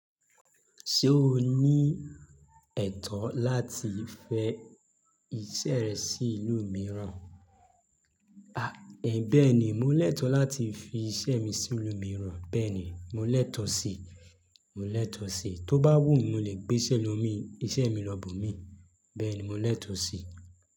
Ṣé o ní ẹ̀tọ́ láti fẹ iṣẹ́ rẹ sí ìlú mìíràn? Bẹ́ẹ̀ni, mò lẹ́tọ̀ láti fi iṣẹ́ mi sí ìlú mìíràn, bẹ́ẹ̀ni mò lẹ́tọ̀ sí, mò lẹ́tọ̀ sí, tó bá wù mí, mò lè gbé iṣẹ́ mi lọ́ boo mí, bẹ́ẹ̀ni mò lẹ́tọ̀ sí.